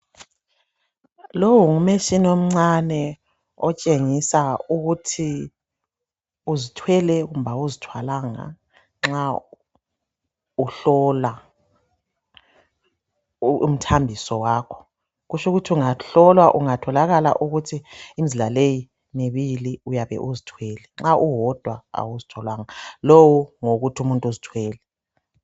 Lo ngumtshina omncane otshengisa ukuthi uzithwele kumbe awuzithwalanga nxa uhlola umthambiso kutsho ukuthi ungahlola utholakale ukuthi imizila leyi imibili uyabe uzithwele nxa uwodwa awuzithwalanga, lo ngowokuthi umuntu uzithwele